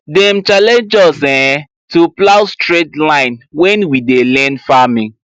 dem challenge us um to plow straight line when we dey learn farming